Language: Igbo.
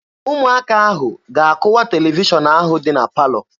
Ụmụaka ahụ ga-akụwa televishọn ahụ dị na palọ.